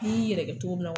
I yɛrɛ kɛ cogo min na